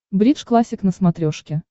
бридж классик на смотрешке